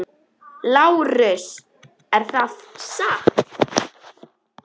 LÁRUS: Er það satt?